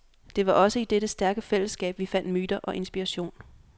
Det var også i dette stærke fællesskab vi fandt myter og inspiration.